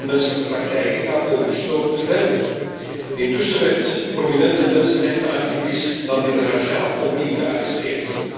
Deze onmenselijke praktijken gaan onverstoord verder. Intussen werd de prominente mensenrechtenactivist Nabeel Rajab opnieuw gearresteerd.